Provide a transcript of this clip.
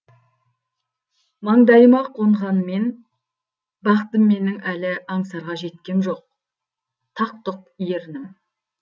маңдайыма қонғанмен бақытым менің әлі аңсарға жеткем жоқ тақ тұқ ернім